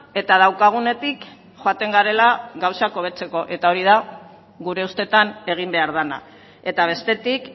eta daukagunetik joaten garela gauzak hobetzeko eta hori da gure ustetan egin behar dena eta bestetik